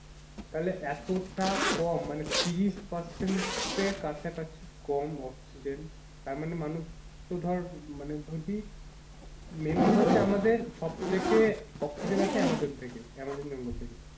তাহলে এতোটা কম মানে ত্রিশ percent এর কাছাকাছি কম oxygen তারমানে মানুষ তো ধর মানে যদি main কথা হচ্ছে আমাদের সব থেকে oxygen আসে আমাজন থেকেই আমাজন জঙ্গল থেকেই,